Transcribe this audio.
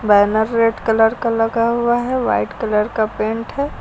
Banner red colour का लगा हुआ है वाइट कलर का पेंट है।